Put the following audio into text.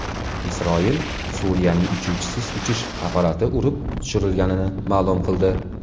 Isroil Suriyaning uchuvchisiz uchish apparati urib tushirilganini ma’lum qildi.